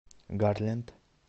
гарленд